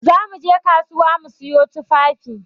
Za mu je kasuwa mu sayo tufafi.